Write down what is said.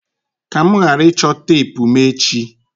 ka mụ ghara ịchọ teepu mụ echi!